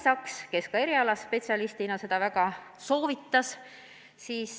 Ja Kai Saks erialaspetsialistina seda ka väga soovitas.